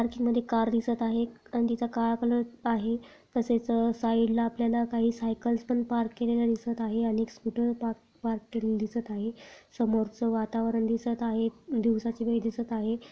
Parking मध्ये car दिसत आहे आणि तिचा काळा कलर आहे तसेच अ साइड ला आपल्याला काही साइकल्स पण पार्क केलेलं दिसत आहे आणि एक स्कूटर पार्क पार्क केलेलं दिसत आहे समोरचा वातावरण दिसत आहे दिवसाची वेळ दिसत आहे.